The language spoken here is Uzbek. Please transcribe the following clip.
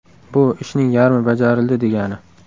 Bu – ishning yarmi bajarildi, degani.